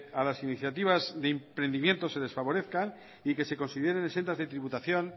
a las iniciativas de emprendimiento se les favorezcan y que se consideren exentas de tributación